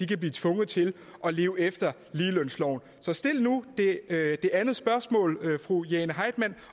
kan blive tvunget til at leve efter ligelønsloven så stil nu det andet spørgsmål fru jane heitmann